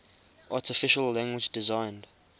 artificial language designed